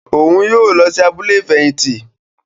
Òún yóò lọ sí abúlé ifẹhinti